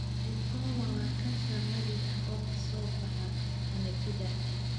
VIPoma waa kansar naadir ah oo ka soo baxa xameetida.